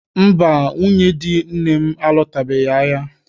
Mba, nwunye di nne m alọtabeghị ahịa